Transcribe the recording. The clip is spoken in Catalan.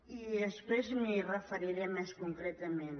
i després m’hi referiré més concretament